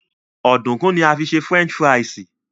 Ọ̀dùnkún ni a fi ń ṣe French fries